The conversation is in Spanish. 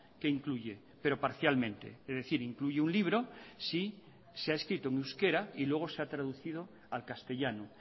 que incluye pero parcialmente es decir incluye un libro si se ha escrito en euskera y luego se ha traducido al castellano